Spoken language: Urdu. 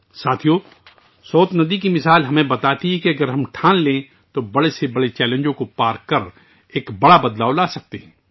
دوستو، دریائے سوت کی مثال ہمیں بتاتی ہے کہ اگر ہم عزم بستہ ہوں تو ہم بڑے سے بڑے چیلنجوں پر قابو پا سکتے ہیں اور ایک بڑی تبدیلی لا سکتے ہیں